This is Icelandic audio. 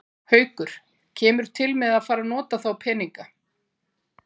Haukur: Kemur til með að fara að nota þá peninga?